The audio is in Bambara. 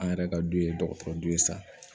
An yɛrɛ ka du ye dɔgɔtɔrɔdɔ ye sa